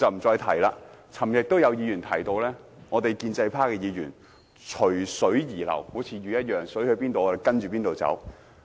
昨天也有議員提到，建制派議員隨水而流，好像魚般，水往哪裏流，我們便跟着去哪裏。